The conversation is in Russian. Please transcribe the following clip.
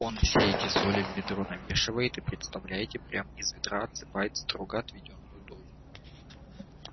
он все эти соли в ведро намешивает и представляете прям из ведра отсыпает строго отведённую дозу